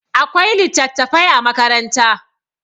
akwai litattafai a makaranta